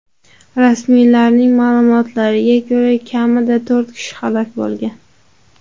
Rasmiylarning ma’lumotlariga ko‘ra, kamida to‘rt kishi halok bo‘lgan.